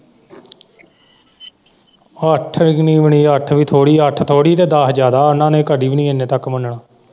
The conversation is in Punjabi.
ਅੱਠ ਵੀ ਨਹੀਂ ਮਿਲਣੀ ਅੱਠ ਵੀ ਥੋੜੀ ਅੱਠ ਥੋੜੀ ਤੇ ਦਸ ਜਿਆਦਾ ਹੈ ਉਹਨਾਂ ਨੇ ਕਦੀ ਵੀ ਨਹੀਂ ਇੰਨੇ ਤੱਕ ਮੰਨਣਾ।